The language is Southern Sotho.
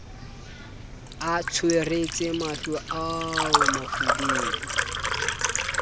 a tsweretse mahlo ao bofubedu